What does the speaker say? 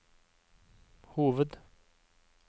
hoved